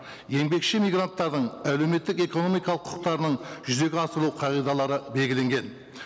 еңбекші мигранттардың әлеуметтік экономикалық құқықтарының жүзеге асыру қағидалары белгіленген